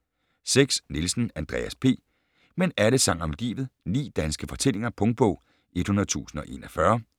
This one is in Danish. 6. Nielsen, Andreas P.: Men alle sang om livet: ni danske fortællinger Punktbog 100041